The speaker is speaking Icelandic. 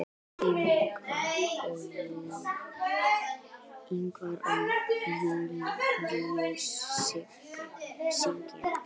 Ingvar og Júlíus syngja.